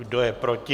Kdo je proti?